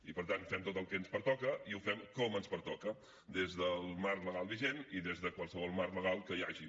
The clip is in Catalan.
i per tant fem tot el que ens pertoca i ho fem com ens pertoca des del marc legal vigent i des de qualsevol marc legal que hi hagi